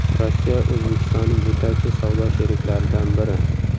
Rossiya O‘zbekistonning yetakchi savdo sheriklaridan biri.